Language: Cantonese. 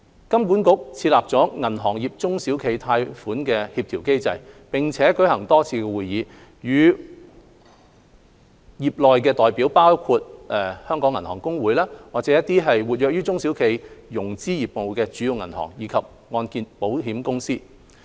金管局設立了銀行業中小企貸款協調機制，並舉行多次會議，與會代表包括香港銀行公會、活躍於中小企融資業務的主要銀行，以及按證保險公司。